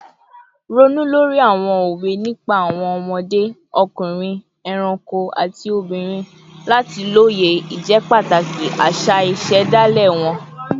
Ronú lórí àwọn òwe nípa àwọn ọmọdé, ọkùnrin, ẹranko, àti obìnrin láti lóye ìjẹ́pàtàkì àṣà ìṣẹ̀dálẹ̀ wọn